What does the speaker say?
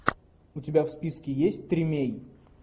у тебя в списке есть тримей